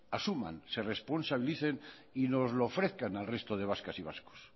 asuman se responsabilicen y nos lo ofrezcan al resto de vascas y vascos